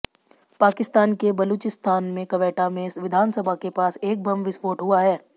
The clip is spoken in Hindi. पाकिस्तान के बलूचिस्तान में क्वेटा में विधानसभा के पास एक बम विस्फोट हुआ है